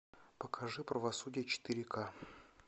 покажи правосудие четыре ка